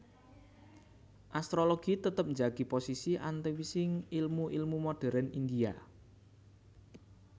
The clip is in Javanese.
Astrologi tetep njagi posisi antawising ilmu ilmu modérn India